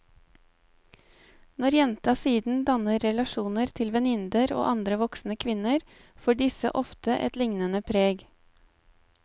Når jenta siden danner relasjoner til venninner og andre voksne kvinner får disse ofte et liknende preg.